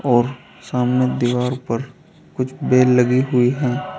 और सामने दीवार पर कुछ बेल लगी हुई हैं।